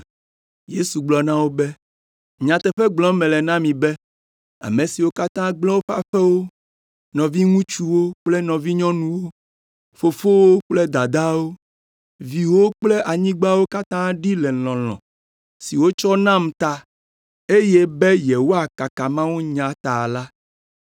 Yesu gblɔ na wo be, “Nyateƒe gblɔm mele na mi be ame siwo katã gblẽ woƒe aƒewo, nɔviŋutsuwo kple nɔvinyɔnuwo, fofowo kple dadawo, viwo kple anyigbawo katã ɖi le lɔlɔ̃ si wotsɔ nam ta, eye be yewoakaka mawunya ta la,